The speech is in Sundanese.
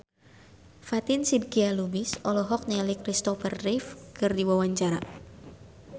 Fatin Shidqia Lubis olohok ningali Kristopher Reeve keur diwawancara